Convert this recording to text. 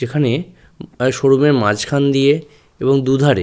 যেখানে প্রায় শোরুমের মাঝখান দিয়ে এবং দু ধারে--